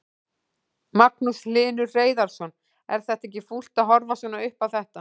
Magnús Hlynur Hreiðarsson: Er þetta ekki fúlt að horfa svona upp á þetta?